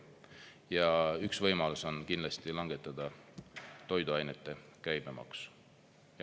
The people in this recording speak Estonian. Ja üks võimalus on kindlasti langetada toiduainete käibemaksu.